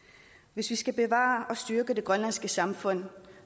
hvis vi skal bevare og styrke det grønlandske samfund